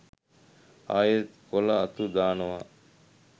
ආයෙත් කොළ අතු දානවා